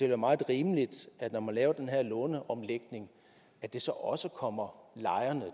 være meget rimeligt når man laver den her låneomlægning at det så også kommer lejerne